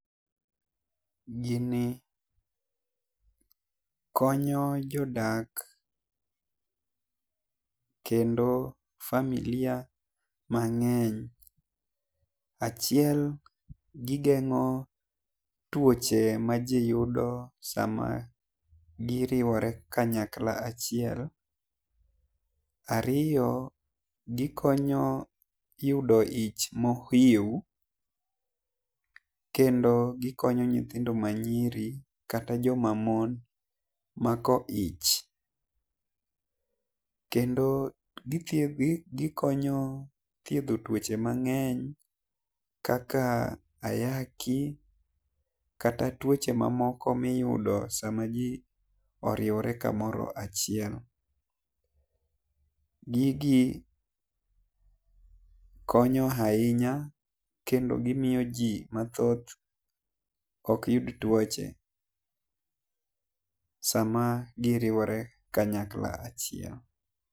Gi ni konyo jodak kendo familia mang'eny achiel gi geng'o tuoche ma ji yudo saa ma gi riwore kanyakla achiel. Ariyo, gi konyo yudo ich ma kendo gi okonyo nyithindo ma nyiri kata jo ma mon mako ich. Kendo gi konyo thiedho tuoche mang'eny kaka ayaki kata tuoche ma moko mi iyudo sa ma ji oriwore ka mora chiel. Gigo konyo ainya kendo gi miyo ji ma thoth ok yud tuoche saa ma gi riwore kanyakla achiel.